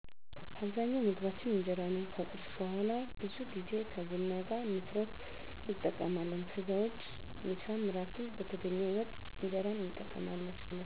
አብዛኛው ምግባችን እጀራ ነው ከቁርስ በውሀላ ብዙ ጌዜ ከቡና ጋር ነፋሮ እንጠቀማለን ከዛ ውጭ ምሳም እራትም በተገኘው ወጥ እንጀራን እንጠቀማለን